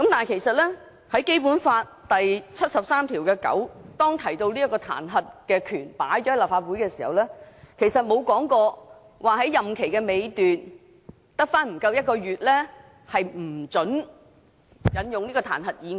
其實，《基本法》第七十三條第九項提到立法會的彈劾權時，沒有列明在行政長官的任期尚餘只有不足1個月時便不准動議這彈劾議案。